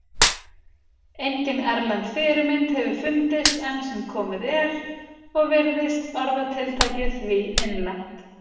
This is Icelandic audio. Engin erlend fyrirmynd hefur fundist enn sem komið er og virðist orðatiltækið því innlent.